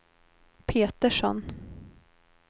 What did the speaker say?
Petersson